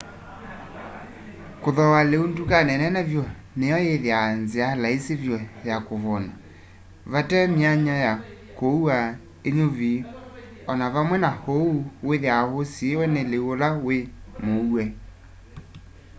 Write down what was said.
kuthooa liu ndukani nene vyu ni yo ithiawa nzia laisi vyu ya kuvuuna vatee my'anya ya kũua ũnyuvi o na vamwe na uu withiawa usiiwe ni liu ula wi mũue